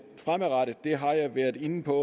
fremadrettede har jeg været inde på